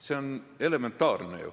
See on ju elementaarne.